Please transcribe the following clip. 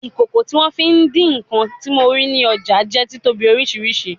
Ikoko ti won fi idi nkan ti mo rii ni ọja jẹ titobi oriṣiriṣi